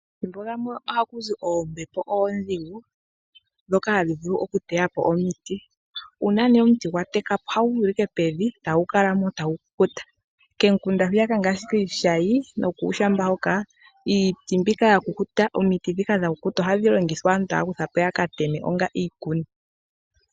Omathimbo gamwe ohakuzi oombepo oodhigu dhoka hadhi vulu okuteya po omiti, uuna nee omuti gwa teka po ohagu gwile ashike pevi tagu kala mpo tagu kukuta, komikunda hwiyaka ngaashi kiishayi nokuushamba hoka, iiti mbika yakukuta omiti dhika dha kukuta ohadhi longithwa aantu taya kutha po yakateme onga iikuni.